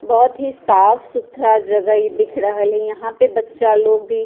बहुत ही साफ-सुथरा जगह इ दिख रहल हेय यहाँ पे बच्चा लोग भी --